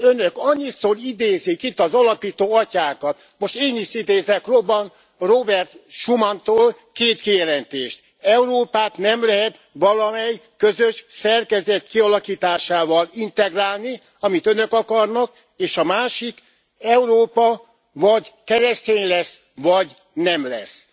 Önök annyiszor idézik itt az alapító atyákat, most én is idézek Robert Schumantól két kijelentést Európát nem lehet valamely közös szerkezet kialakításával integrálni, amit önök akarnak, és a másik Európa vagy keresztény lesz, vagy nem lesz.